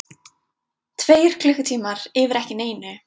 Tveir klukkutímar yfir ekki neinu.